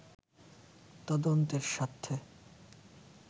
তদন্তের স্বার্থে